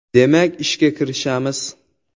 Demak, ishga kirishamiz.